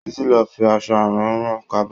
Títí ló fi aṣọ àrán rán kaba.